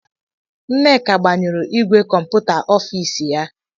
Nneka gbanyụrụ ìgwè kọmputa ọfis ya.